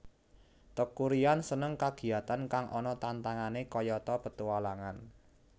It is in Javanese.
Teuku Ryan seneng kagiyatan kang ana tantangane kayata petualangan